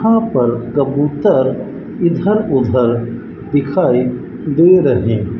हां पर कबूतर इधर उधर दिखाई दे रहे--